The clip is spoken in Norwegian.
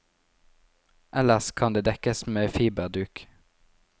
Ellers kan de dekkes med fiberduk.